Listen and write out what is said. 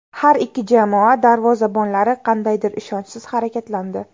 Har ikki jamoa darvozabonlari qandaydir ishonchsiz harakatlandi.